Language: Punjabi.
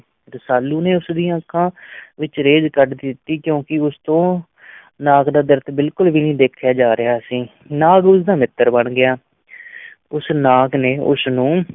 ਰਸਾਲੂ ਨੇ ਉਸ ਦੀਆਂ ਅੱਖਾਂ ਵਿੱਚੋਂ ਰੇਤ ਕੱਢ ਦਿੱਤੀ ਕਿਉਂਕਿ ਉਸਤੋਂ ਨਾਗ ਦਾ ਦਰਦ ਬਿਲਕੁਲ ਵੀ ਨੀ ਦੇਖਿਆ ਜਾ ਰਿਹਾ ਸੀ, ਨਾਗ ਉਸ ਦਾ ਮਿੱਤਰ ਬਣ ਗਿਆ ਉਸ ਨਾਗ ਨੇ ਉਸ ਨੂੰ